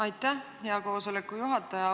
Aitäh, hea koosoleku juhataja!